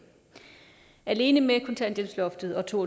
alene med kontanthjælpsloftet og to